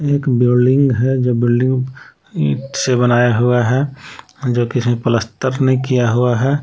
एक बिल्डिंग है जो बिल्डिंग ईंट से बनाया हुआ है जो किसी प्लस्टर नहीं किया हुआ है।